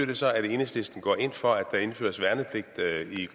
det så at enhedslisten går ind for at der indføres værnepligt